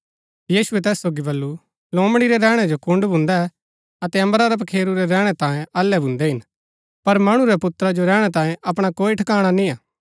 यीशुऐ तैस सोगी बल्लू लोमड़ी रै रैहणै जो कूड्‍ड भून्दै अतै अम्बरा रै पखेरू रै रैहणै तांई अल्लै भून्दै हिन पर मणु रै पुत्रा जो रैहणै तांई अपणा कोई ठकाणा निय्आ